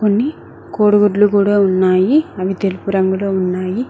కొన్ని కోడిగుడ్లు కూడా ఉన్నాయి అవి తెలుపు రంగులో ఉన్నాయి.